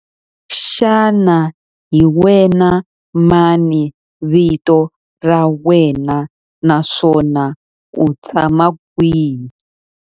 Xana hi wena mani vito ra wena naswona u tshama kwihi?